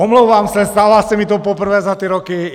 Omlouvám se, stává se mi to poprvé za ty roky.